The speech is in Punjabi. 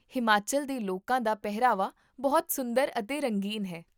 ਹਿਮਾਚਲ ਦੇ ਲੋਕਾਂ ਦਾ ਪਹਿਰਾਵਾ ਬਹੁਤ ਸੁੰਦਰ ਅਤੇ ਰੰਗੀਨ ਹੈ